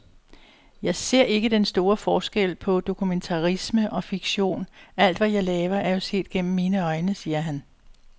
Jeg ser ikke den store forskel på dokumentarisme og fiktion, alt, hvad jeg laver, er jo set gennem mine øjne, siger han.